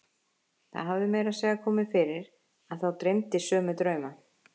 Það hafði meira að segja komið fyrir að þá dreymdi sömu drauma.